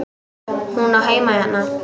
Hún á heima hérna!